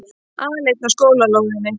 Aleinn á skólalóðinni.